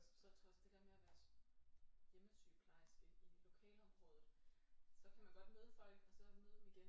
Og så trods det der med at være hjemmesygeplejerske i lokalområdet så kan man godt møde folk og så møde dem igen